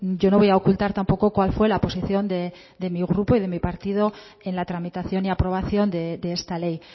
yo no voy a ocultar tampoco cuál fue la posición de mi grupo y mi partido en la tramitación y aprobación de esta ley